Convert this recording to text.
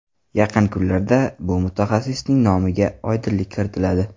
Yaqin kunlarda bu mutaxassisning nomiga oydinlik kiritiladi.